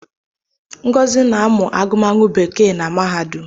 Ngozi na-amụ agụmagụ bekee na mahadum